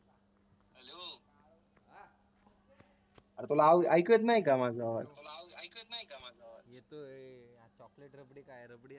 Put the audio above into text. अरे तो नाव ऐकत नाही का माझं